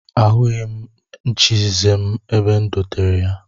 Ahụghị m nchieze m n'ebe e dotere ha